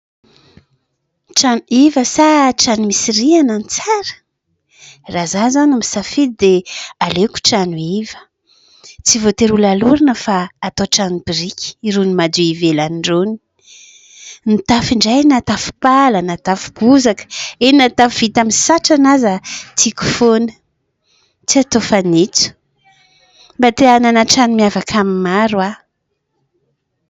Trano iva sa trano misy rihana no tsara ? Raha izaho izao no misafidy dia aleko trano iva, tsy voatery ho lalorana fa atao trano biriky, irony madio ivelany irony, ny tafo indray na tafo pala na tafo bozaka, eny, na tafo vita amin'ny satrana aza tiako foana, tsy atao fanitso, mba te hanana trano miavaka amin'ny maro aho.